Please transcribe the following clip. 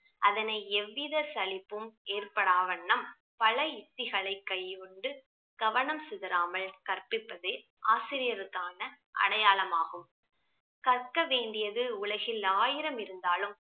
அதனை எவ்வித சலிப்பும் ஏற்படா வண்ணம் பல யுத்திகளை கையுண்டு கவனம் சிதறாமல் கற்பிப்பதே ஆசிரியருக்கான அடையாளமாகும் கற்க வேண்டியது உலகில் ஆயிரம் இருந்தாலும்